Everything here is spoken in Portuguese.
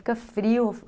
Fica frio.